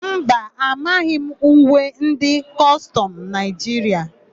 Mba, amaghị m uwe ndị kọstọmụ Naịjiria.